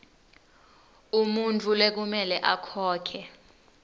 umuntfu lekumele akhokhe